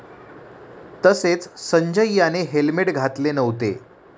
तसेच संजय याने हेल्मेट घातले नव्हते.